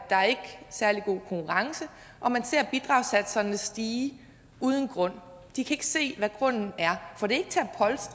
særlig god konkurrence og man ser bidragssatserne stige uden grund og de kan ikke se hvad grunden er for det